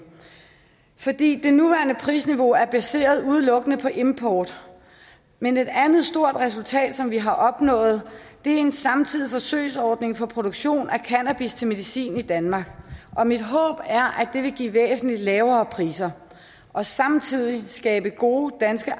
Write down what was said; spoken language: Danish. fordi det nuværende prisniveau er baseret udelukkende på import men et andet stort resultat som vi har opnået er en samtidig forsøgsordning for produktion af cannabis til medicin i danmark og mit håb er at det vil give væsentlig lavere priser og samtidig skabe gode danske